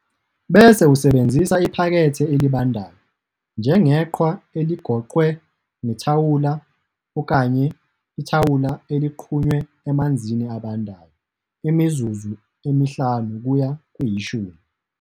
Bese usebenzisa iphakethe elibandayo, njengeqhwa eligoqwe ngethawula, okanye ithawula eliqqunywe emanzini abandayo, imizuzu emihlanu kuya kweyishumi.